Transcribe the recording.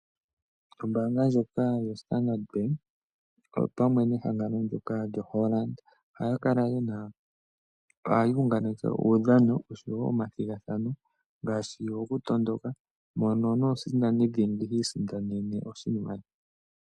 Ombaanga ndjoka yo Standard Bank opamwe nehangano ndyoka lyo Hollard, ohaya unganeke uudhano oshowo omathigathano, ngaashi go kutondoka mono nomusindani dhingi ha isindanene oshimaliwa.